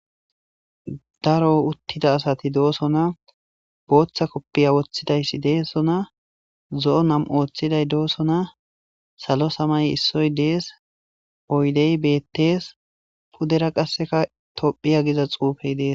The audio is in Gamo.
daro uttida asati doosona booththa koppiya woththidayssi deessona zo7o nam ooththiday doosona salo samay issoy dees oydey bettees pudera qasseka tophiya giza xuufey dees